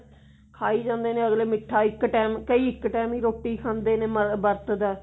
ਖਾਈ ਜਾਂਦੇ ਨੇ ਅਗਲਾ ਮਿੱਠਾ ਕਈ ਇੱਕ time ਹੀ ਰੋਟੀ ਖਾਂਦੇ ਨੇ ਮਤਲਬ ਵਰਤ ਦਾ